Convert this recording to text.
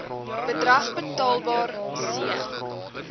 bedrag betaalbaar c